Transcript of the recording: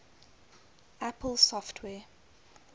apple software